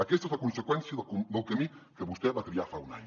aquesta és la conseqüència del camí que vostè va triar fa un any